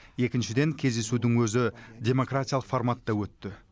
екіншіден кездесудің өзі демократиялық форматта өтті